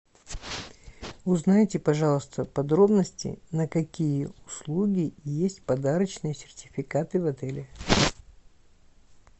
узнайте пожалуйста подробности на какие услуги есть подарочные сертификаты в отеле